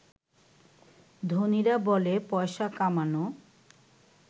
ধনীরা বলে পয়সা কামানো